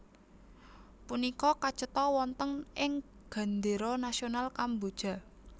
Punika kacetha wonten ing gendéra nasional Kamboja